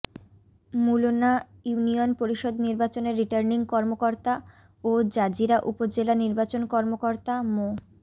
Mulna union পরিষদ নির্বাচনের returning কর্মকর্তা ও জাজিরা উপজেলা নির্বাচন কর্মকর্তা মো